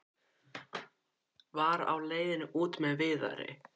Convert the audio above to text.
Var á leiðinni út með Viðari.